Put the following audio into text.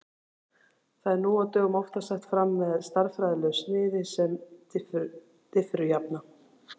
Það er nú á dögum oftast sett fram með stærðfræðilegu sniði sem diffurjafna.